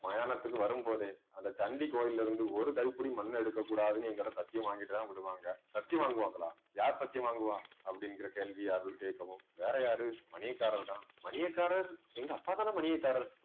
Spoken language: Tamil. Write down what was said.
மயானத்துக்கு வரும்போதே அந்த சண்டி கோயில்ல இருந்து ஒரு கைப்பிடி மண்ணை எடுக்கக் கூடாதுன்னு என்கிட்ட சத்தியம் வாங்கிட்டுதான் விடுவாங்க சத்தியம் வாங்குவாங்களா யார் சத்தியம் வாங்குவ அப்படிங்கிற கேள்வி அருள் கேட்கவும் வேறயாரு மணியக்காரர் தான் மணியக்காரர் எங்க அப்பாதானே மணியக்காரர்